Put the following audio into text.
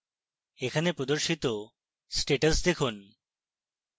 এখানে প্রদর্শিত status দেখুন